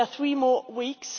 There are three more weeks.